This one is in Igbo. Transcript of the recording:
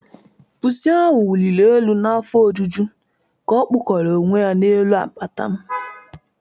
1.pusi wuliri elu n'afọ ojuju ka ọ curls elu n'apata m.